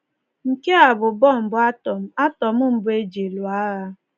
Nke a bụ bọmbụ átọm átọm mbụ e ji lụọ agha.